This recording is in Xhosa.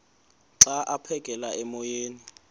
xa aphekela emoyeni